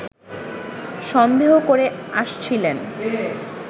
সন্দেহ করে আসছিলেন